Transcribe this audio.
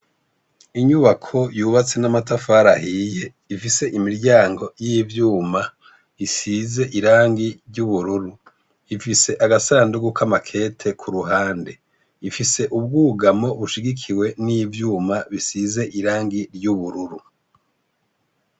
Inyubako yubatse n'amatafari ahiye ,ifise imiryango y'ivyuma isize irangi ry'ubururu, ifise agasandugu k'amakete kuruhande ,ifise ubwugamo bushigikiwe n'ivyuma bisize irangi ry'ubururu.